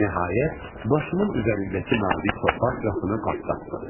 Nəhayət, başımın üzərindəki nazik torpaq qatını partlatdım.